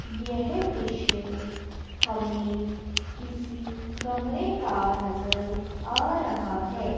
यह दृश्य हमें किसी कमरे का नजर आ रहा है।